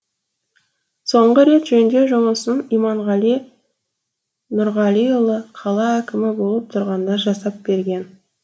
соңғы рет жөндеу жұмысын иманғали нұрғалиұлы қала әкімі болып тұрғанда жасап берген